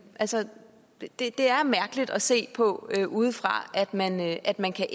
altså det er mærkeligt at se på udefra at man at man kan